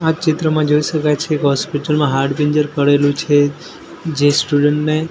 આ ચિત્રમાં જોઈ શકાય છે એક હોસ્પિટલ માં હાડપિંજર પડેલું છે જે સ્ટુડન્ટ ને--